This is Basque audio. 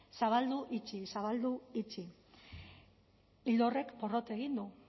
zabaldu itxi zabaldu itxi ildo horrek porrot egin du